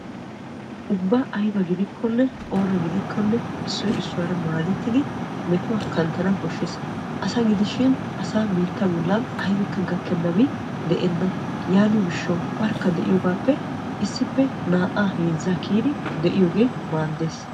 Ubba aybba gidikkonne issuwa issuwara maaddettiddi de'anawu koshees. Issuwa gidiyogappe naa'a heezza gididdi de'iyooge maadees.